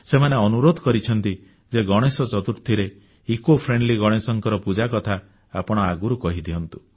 ସେମାନେ ଅନୁରୋଧ କରିଛନ୍ତି ଯେ ଗଣେଶ ଚତୁର୍ଥୀରେ ପରିବେଶଧର୍ମୀ ଇକୋଫ୍ରେଣ୍ଡଲି ଗଣେଶଙ୍କ ପୂଜା କଥା ଆପଣ ଆଗରୁ କହି ଦିଅନ୍ତୁ